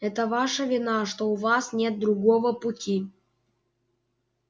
это ваша вина что у вас нет другого пути